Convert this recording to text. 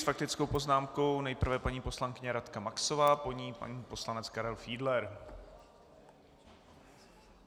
S faktickou poznámkou nejprve paní poslankyně Radka Maxová, po ní pan poslanec Karel Fiedler.